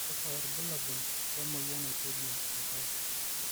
kakua irbulabol le moyian naitejia oltau?